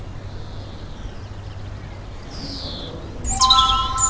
খুব ভালো। আমি খাওয়া দাওয়া করিনি